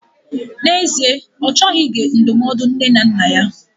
N'ezie, Ọ chọghị ige ndụmọdụ nne na nna ya.